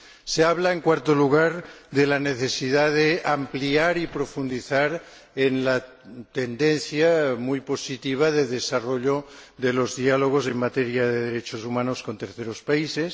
Se habla, en cuarto lugar, de la necesidad de ampliar y profundizar en la tendencia muy positiva de desarrollo de los diálogos en materia de derechos humanos con terceros países.